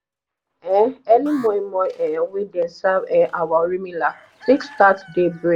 um early moh-moh um wey dey serve um our orumila take start day break